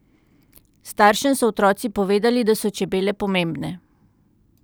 Staršem so otroci povedali, da so čebele pomembne.